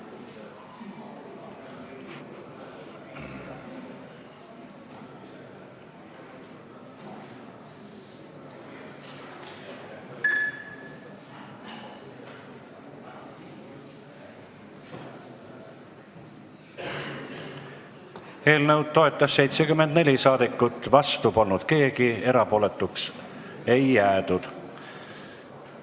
Hääletustulemused Eelnõu toetas 74 saadikut, vastu polnud keegi, erapooletuks ei jäädud.